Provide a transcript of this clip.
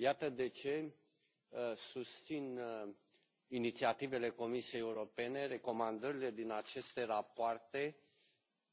Iată de ce susțin inițiativele Comisiei Europene, recomandările din aceste rapoarte,